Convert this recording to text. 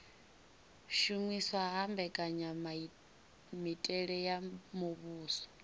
shumiswa ha mbekanyamitele ya muvhuso